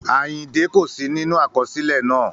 Àyìndẹ́ kò sí nínú àkọsílẹ̀ náà